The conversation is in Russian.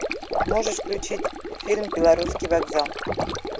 можешь включить фильм белорусский вокзал